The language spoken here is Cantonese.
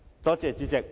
多謝主席。